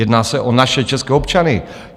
Jedná se o naše české občany.